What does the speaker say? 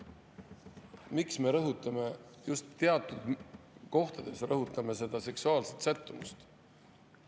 Miks me rõhutame just teatud kohtades seksuaalset sättumust?